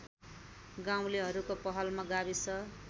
गाउँलेहरूको पहलमा गाविस